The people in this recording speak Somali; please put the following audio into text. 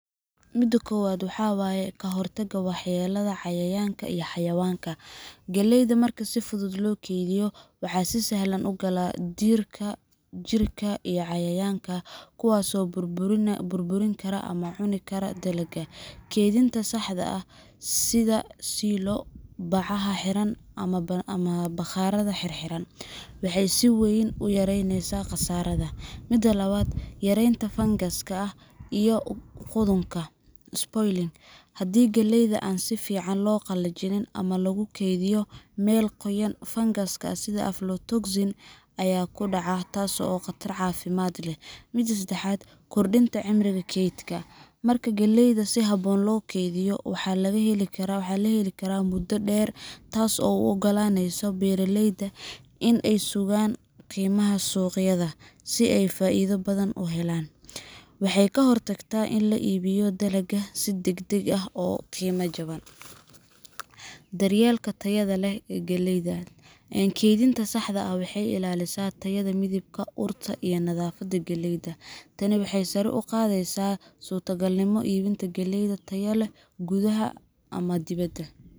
Mida kobad waxawaye ka hortagga waxyeellada cayayaanka iyo xayawaanka Galleyda marka si furan loo kaydiyo, waxa si sahlan u gala diirka, jiirka, iyo cayayaanka, kuwaas oo burburin kara ama cuni kara dalagga. Kaydinta saxda ah sida silo, bacaha xiran, ama bakhaar xirxiran waxay si weyn u yaraynaysaa khasaarahaas. Mida labad Yaraynta fangaska iyo qudhunka spoiling Haddii galleyda aan si fiican loo qalajin ama lagu kaydiyo meel qoyan, fangas sida aflatoxin ayaa ku dhaca, taasoo khatar caafimaadna leh. Kaydinta saxda ah waxay ilaalisaa heerka qoyaan moisture oo nabdoon. Mida sedexad waa. Kordhinta cimriga kaydka Marka galleyda si habboon loo kaydiyo, waxaa la heli karaa muddo dheer, taasoo u oggolaanaysa beeraleyda inay sugaan qiimaha suuqyada si ay faa’iido badan u helaan. Waxay ka hortagtaa in la iibiyo dalagga si degdeg ah oo qiimo jaban. Daryeelka tayada galleyda Kaydinta saxda ah waxay ilaalisaa tayada: midabka, urta, iyo nafaqada galleyda. Tani waxay sare u qaadaysaa suurtagalnimada iibinta galley tayo leh gudaha ama dibedda.